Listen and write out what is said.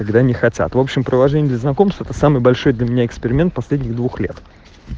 когда они хотят в общем приложение для знакомства самый большой для меня эксперимент последних двух лет